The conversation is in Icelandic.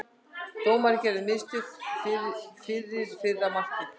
Dómarinn gerði mistök fyrir fyrra markið.